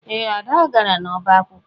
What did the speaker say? Ee, Ada gara n'ọba akwụkwọ